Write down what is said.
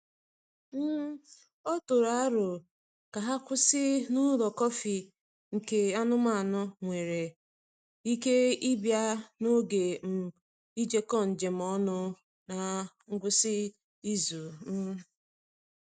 um O tụrụ aro ka ha kwụsị n’ụlọ kọfị nke anụmanụ nwere ike ịbịa n’oge um ijekọ njem ọnụ n’ngwụsị izu. um